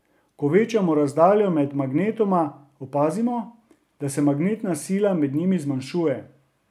Ko večamo razdaljo med magnetoma, opazimo, da se magnetna sila med njima zmanjšuje.